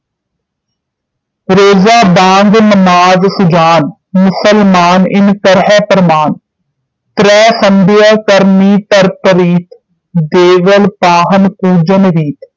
ਰੋਜ਼ਾ ਬਾਂਗ ਨਮਾਜ਼ ਸੁਜਾਨ ਮੁਸਲਮਾਨ ਇਨ ਕਰਹਿ ਪ੍ਰਮਾਨ ਤੋਂ ਸੰਗ੍ਯਾ ਕਰਨੀ ਧਰ ਪ੍ਰੀਤਿ ਦੇਵਲ ਪਾਹਨ ਪੂਜਨ ਗੀਤ